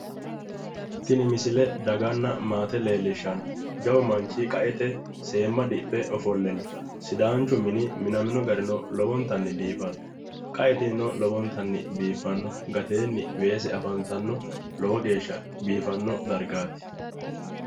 Tini misile dganna maate leellishshanno, jawu manchi qa"ete seemma dhiphe ofolle no, sidaancho mine minamino garino lowonta biifanno qa"e tinino lowntanni biiffanno gateenni weese afantanno lowo geeshsha biifanno dargaati,